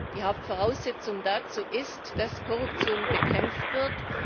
Die Hauptvoraussetzung dafür ist, dass die Korruption bekämpft wird.